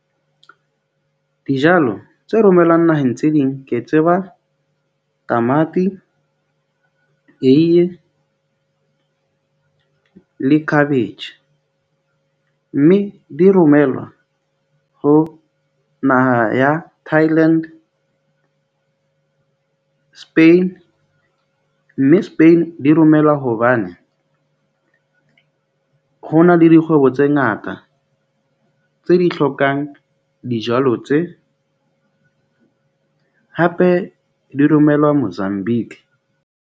Dijalo tse romellwang naheng tse ding, ke tseba tamati, eiye le khabetjhe. Mme di romellwa ho naha ya Thailand, Spain, mme Spain di romellwa hobane ho na le dikgwebo tse ngata tseo di hlokang dijalo tse hape di romelwa Mozambique.